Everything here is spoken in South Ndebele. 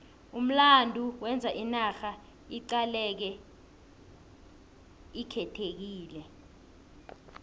umlando wenza inarha iqaleke ikhethekile